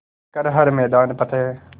कर हर मैदान फ़तेह